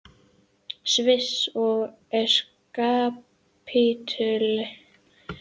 Sviss er kapítuli út af fyrir sig.